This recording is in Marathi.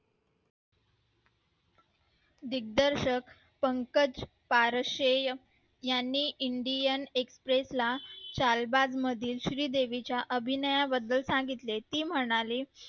दिग्दर्शक पंकज पारशे यांनी indian express ला चार बाग मधील श्री देवी च्याअभिनया बद्दल सांगितले ती मनाली